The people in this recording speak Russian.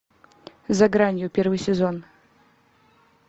за гранью первый сезон